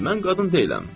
Mən qadın deyiləm.